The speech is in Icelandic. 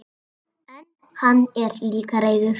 En hann er líka reiður.